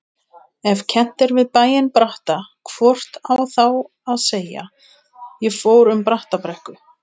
Ef kennt við bæinn Bratta hvort á þá að segja: ég fór um Brattabrekku.